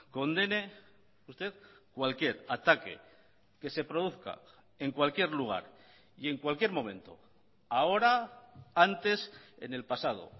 condene usted cualquier ataque que se produzca en cualquier lugar y en cualquier momento ahora antes en el pasado